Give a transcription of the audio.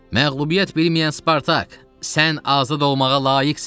Məğlubiyyət bilməyən Spartak, sən azad olmağa layiqsən!